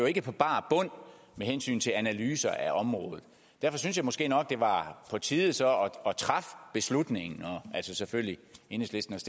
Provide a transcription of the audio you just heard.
ikke på bar bund med hensyn til analyser af området derfor synes jeg måske nok det var på tide så at træffe beslutningen og selvfølgelig enhedslisten